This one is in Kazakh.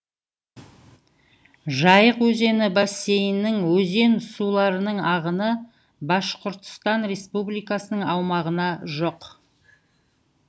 жайық өзені бассейнінің өзен суларының ағыны башқұртстан республикасының аумағына жоқ